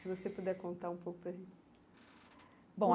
Se você puder contar um pouco bom.